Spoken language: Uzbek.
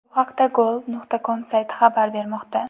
Bu haqda Goal.com sayti xabar bermoqda.